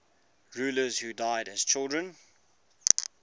rulers who died as children